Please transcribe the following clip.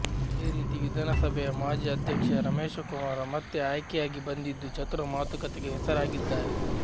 ಅದೇ ರೀತಿ ವಿಧಾನ ಸಭೆಯ ಮಾಜಿ ಅಧ್ಯಕ್ಷ ರಮೇಶ ಕುಮಾರ ಮತ್ತೆ ಆಯ್ಕೆಯಾಗಿ ಬಂದಿದ್ದು ಚತುರ ಮಾತುಕತೆಗೆ ಹೆಸರಾಗಿದ್ದಾರೆ